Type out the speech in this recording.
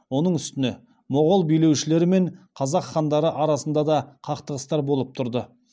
оның үстіне моғол билеушілері мен қазақ хандары арасында да қақтығыстар болып тұрды